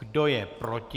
Kdo je proti?